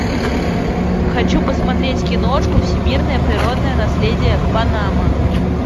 хочу посмотреть киношку всемирное природное наследие панама